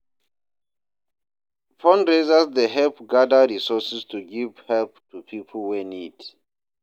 Fundraisers dey help gather resources to giv help to pipo wey need.